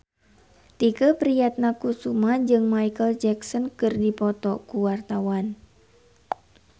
Tike Priatnakusuma jeung Micheal Jackson keur dipoto ku wartawan